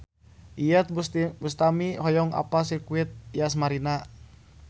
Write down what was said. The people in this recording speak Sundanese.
Iyeth Bustami hoyong apal Sirkuit Yas Marina